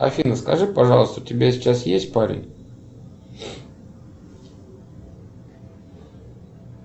афина скажи пожалуйста у тебя сейчас есть парень